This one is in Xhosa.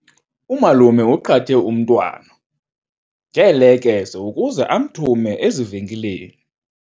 Umalume uqhathe umntwana ngeelekese ukuze amthume ezivenkileni.